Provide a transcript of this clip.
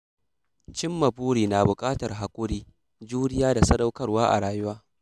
Cimma buri na buƙatar haƙuri, juriya da sadaukarwa a rayuwa.